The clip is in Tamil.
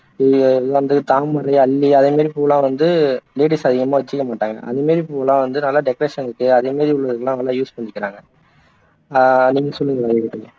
தாமரை, அல்லி அதே மாதிரி பூவெல்லாம் வந்து அதிகமா வச்சுக்க மாட்டாங்க அதே மாதிரி பூவெல்லாம் வந்து நல்லா decoration க்கு அதே மாதிரி உள்ளதுக்கெல்லாம் நல்லா use பண்ணிக்கிறாங்க நீங்க சொல்லுங்க அது